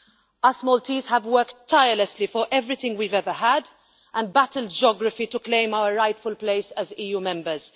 We Maltese have worked tirelessly for everything we've ever had, and battled geography to claim our rightful place as EU members.